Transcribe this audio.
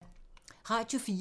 Radio 4